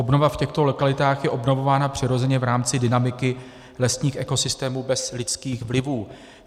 Obnova v těchto lokalitách je obnovována přirozeně v rámci dynamiky lesních ekosystémů bez lidských vlivů.